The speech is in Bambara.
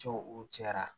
Cɛw u cɛra